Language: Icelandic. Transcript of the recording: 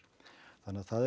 þannig að það er